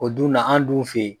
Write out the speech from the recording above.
O dun na an' dun fe ye